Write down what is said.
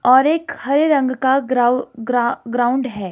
और एक हरे रंग का ग्राउ ग्रा ग्राउंड है।